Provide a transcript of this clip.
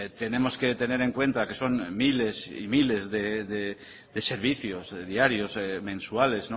tenemos que tener en cuenta que son miles y miles de servicios diarios mensuales